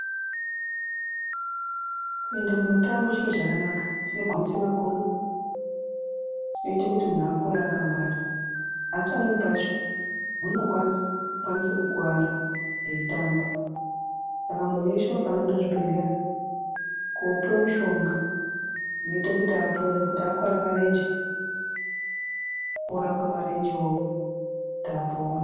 Kuenda ku mutambo chiro chakanaka. Chinogwinyisa makodo, chinoita kuti muntu akure akangwara. Asi pamweni pacho muntu unokwanisa kukuwara eitamba. Saka muntu weshe unofanirwa kuenda kuchibhedhlera koopuwa mushonga unoita kuti apore. Kuti akuwara marenje, orapwa marenje wo kuti apore.